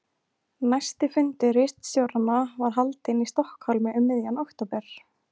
Næsti fundur ritstjóranna var haldinn í Stokkhólmi um miðjan október